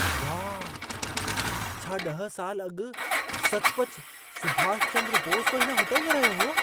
वाह! छा 10 साल अॻु सचुपच सुभाष चंद्र बोस बि हिन होटल में रहियो हो?